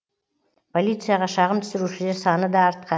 полицияға шағым түсірушілер саны да артқан